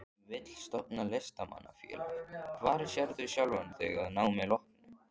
Vill stofna Listamanna-félag Hvar sérðu sjálfan þig að námi loknu?